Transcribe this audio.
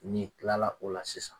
N'i tilala o la sisan